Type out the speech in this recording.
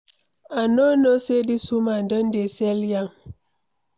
I no know say dis woman Don dey sell yam.